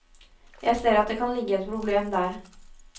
Jeg ser at det kan ligge et problem der.